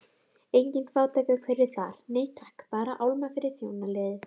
Engin fátækrahverfi þar, nei takk, bara álma fyrir þjónaliðið.